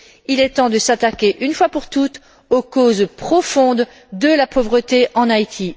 Il est temps de s'attaquer, une fois pour toutes, aux causes profondes de la pauvreté en Haïti.